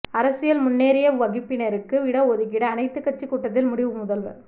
அரசியல் முன்னேறிய வகுப்பினருக்கு இடஒதுக்கீடு அனைத்து கட்சி கூட்டத்தில் முடிவு முதல்வர்